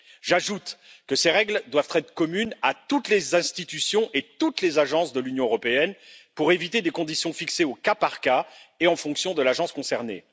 J'ajoute que ces règles doivent être communes à toutes les institutions et à toutes les agences de l'Union européenne pour éviter des conditions fixées au cas par cas et en fonction de l'agence concernée.